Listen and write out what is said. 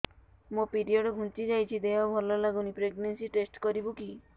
ମୋ ପିରିଅଡ଼ ଘୁଞ୍ଚି ଯାଇଛି ଦେହ ଭଲ ଲାଗୁନି ପ୍ରେଗ୍ନନ୍ସି ଟେଷ୍ଟ କରିବୁ କି